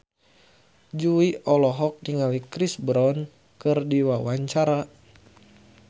Jui olohok ningali Chris Brown keur diwawancara